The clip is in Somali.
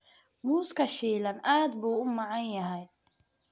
Muuska shiilan aad buu u macaan yahay.